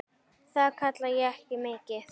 Það kalla ég ekki mikið.